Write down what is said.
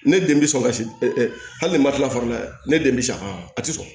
Ne den be sɔn ka hali ni ma tila fara la dɛ ne den be s'a kɔrɔ a ti sɔn